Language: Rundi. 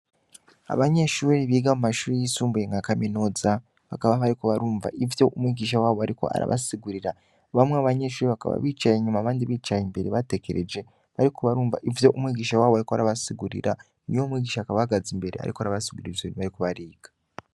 Abanyeshure biga mu mashure yisumbuye nkakaminuza bakaba bariko barumva ivyo umwigisha wabo ariko arabasigurira bamwe mubanyeshure bamwe mubanyeshure bakaba bicaye inyuma abandi bicaye Imbere bategereje bariko barumva ivyo umwigisha wabo ariko arabasigurira umwigisha akaba ahagaze imbere ariko arabasigurira ivyo bariko bariga.